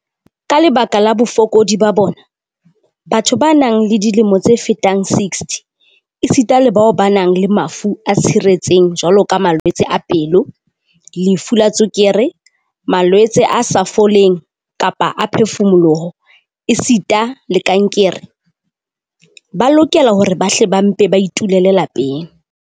Ka lebaka la bofokodi ba bona, batho ba nang le dilemo tse fetang 60 esita le bao ba nang le mafu a tshiretseng jwaloka malwetse a pelo, lefu la tswekere, malwetse a sa foleng kapele a phefumoloho esita le kankere, ba lokela hore ba hle ba mpe ba itulele lapeng."